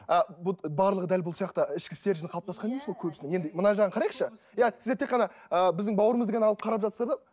ы барлығы дәл бұл сияқты ішкі стержен қалыптасқан емес қой көбісінің енді мына жағын қарайықшы иә сіздер тек қана ыыы біздің бауырымызды ғана алып қарап жатсыздар да